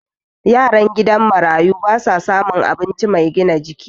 yaran gidan marayu ba sa samun abinci Mai gina jiki